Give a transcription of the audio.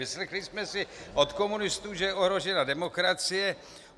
Vyslechli jsme si od komunistů, že je ohrožena demokracie.